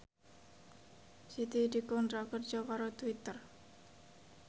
Siti dikontrak kerja karo Twitter